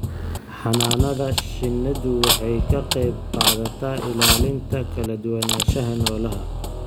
Xannaanada shinnidu waxay ka qayb qaadataa ilaalinta kala duwanaanshaha noolaha.